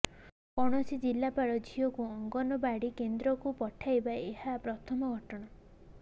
କୌଣସି ଜିଲାପାଳ ଝିଅକୁ ଅଙ୍ଗନୱାଡ଼ି କେନ୍ଦ୍ରକୁ ପଠାଇବା ଏହା ପ୍ରଥମ ଘଟଣା